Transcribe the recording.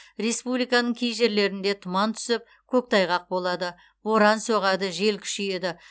республиканың кей жерлерінде тұман түсіп көктайғақ болады боран соғады жел күшейеді